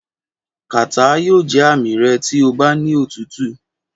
Kàtá yóò jẹ́ àmì rẹ tí ó bá ní òtútù.